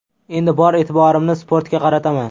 Endi bor e’tiborimni sportga qarataman !